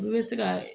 Olu bɛ se ka